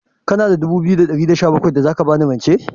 Kana da dubu biyu da ɗari da sha bakwai da za ka ba ni rance?